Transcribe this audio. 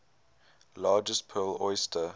largest pearl oyster